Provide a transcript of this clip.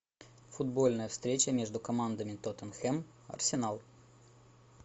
футбольная встреча между командами тоттенхэм арсенал